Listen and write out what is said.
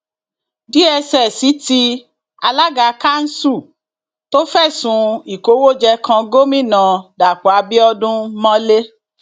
dss tí alága kanṣu tó fẹsùn ìkówóje kan gomina dapò abiodun mọlẹ